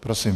Prosím.